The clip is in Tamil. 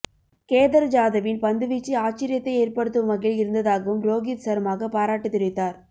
கேதர் ஜாதவின் பந்துவீச்சு ஆச்சரியத்தை ஏற்படுத்தும் வகையில் இருந்ததாகவும் ரோகித் சர்மாக பாராட்டு தெரிவித்தார்